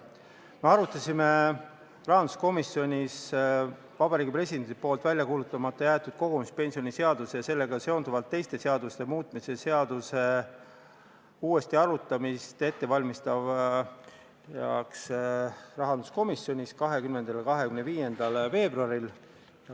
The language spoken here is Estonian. Me arutasime rahanduskomisjonis Vabariigi Presidendi poolt välja kuulutamata jäetud kogumispensionide seaduse ja sellega seonduvalt teiste seaduste muutmise seadust uuesti arutamiseks ette valmistades 20. ja 25. veebruaril.